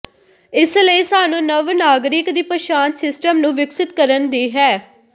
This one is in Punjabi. ਇਸ ਲਈ ਸਾਨੂੰ ਨਵ ਨਾਗਰਿਕ ਦੀ ਪਛਾਣ ਸਿਸਟਮ ਨੂੰ ਵਿਕਸਤ ਕਰਨ ਦੀ ਹੈ